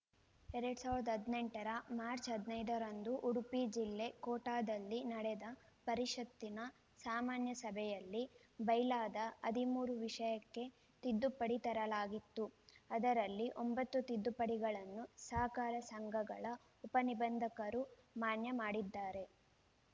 ಎರಡ್ ಸಾವಿರದ ಹದಿನೆಂಟರ ಮಾರ್ಚ ಹದಿನೈದರಂದು ಉಡುಪಿ ಜಿಲ್ಲೆ ಕೋಟಾದಲ್ಲಿ ನಡೆದ ಪರಿಷತ್ತಿನ ಸಾಮಾನ್ಯ ಸಭೆಯಲ್ಲಿ ಬೈಲಾದ ಹದಿಮೂರು ವಿಷಯಕ್ಕೆ ತಿದ್ದುಪಡಿ ತರಲಾಗಿತ್ತು ಅದರಲ್ಲಿ ಒಂಬತ್ತು ತಿದ್ದುಪಡಿಗಳನ್ನು ಸಹಕಾರ ಸಂಘಗಳ ಉಪನಿಬಂಧಕರು ಮಾನ್ಯ ಮಾಡಿದ್ದಾರೆ